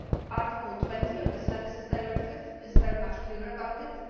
Article 20 of the Services Directive is very clear about